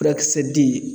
Furakisɛ di